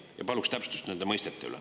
Ja paluks täpsustust nende mõistete kohta.